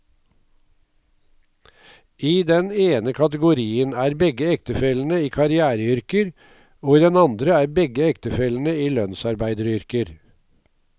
I den ene kategorien er begge ektefellene i karriereyrker, og i den andre er begge ektefellene i lønnsarbeideryrker.